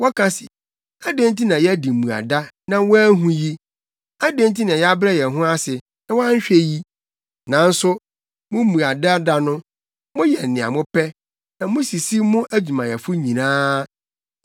Wɔka se, ‘Adɛn nti na yɛadi mmuada na woanhu yi? Adɛn nti na yɛabrɛ yɛn ho ase, na woanhwɛ yi?’ “Nanso mo mmuada da no, moyɛ nea mopɛ na musisi mo adwumayɛfo nyinaa.